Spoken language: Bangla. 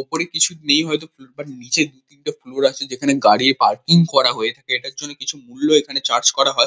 ওপরে কিছু নেই হয়তো ফ্লোর -টার নিচে দু-তিনটে ফ্লোর আছে। যেখানে গাড়ি পার্কিং করা হয়ে থাকে। এটার জন্যে কিছু মূল্য এখানে চার্জ করা হয়।